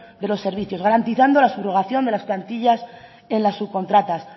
de los servicios garantizando la subrogación de las plantillas en las subcontratas